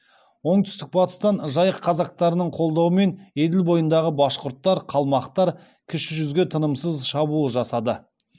оңтүстік батыстан жайық казактарының қолдауымен еділ бойындағы башқұрттар қалмақтар кіші жүзге тынымсыз шабуыл жасады